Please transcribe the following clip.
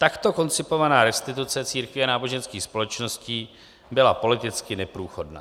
Takto koncipovaná restituce církví a náboženských společností byla politicky neprůchodná.